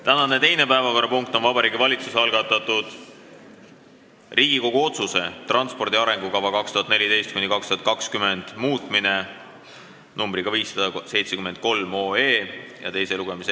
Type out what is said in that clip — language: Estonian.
Tänane teine päevakorrapunkt on Vabariigi Valitsuse algatatud Riigikogu otsuse ""Transpordi arengukava 2014–2020" muutmine" eelnõu 573 teine lugemine.